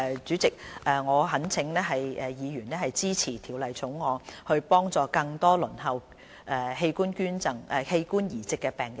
主席，我懇請議員支持《條例草案》，幫助更多輪候器官移植的病人。